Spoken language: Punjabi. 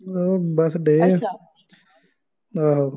ਲਾਉਣ ਬੱਸ ਡੇ, ਆਹੋ